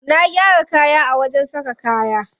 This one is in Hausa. Na gyara kaya a wajen saka kaya.